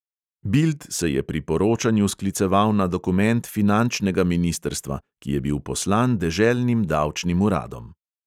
Bild se je pri poročanju skliceval na dokument finančnega ministrstva, ki je bil poslan deželnim davčnim uradom.